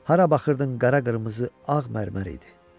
Hara baxırdın qara-qırmızı ağ mərmər idi.